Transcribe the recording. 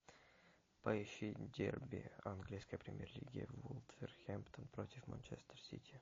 поищи дерби английской премьер лиги вулверхэмптон против манчестер сити